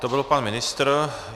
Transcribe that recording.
To byl pan ministr.